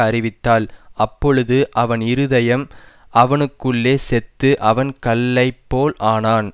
அறிவித்தாள் அப்பொழுது அவன் இருதயம் அவனுக்குள்ளே செத்து அவன் கல்லைப்போலானான்